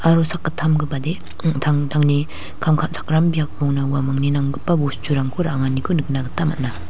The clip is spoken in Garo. aro sakgittamgipade an·tangtangni kam ka·chakram biapona uamangni nanggipa bosturangko ra·anganiko nikna gita man·a.